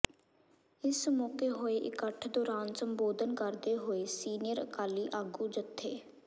ਇਸ ਮੌਕੇ ਹੋਏ ਇਕੱਠ ਦੌਰਾਨ ਸੰਬੋਧਨ ਕਰਦੇ ਹੋਏ ਸੀਨੀਅਰ ਅਕਾਲੀ ਆਗੂ ਜਥੇ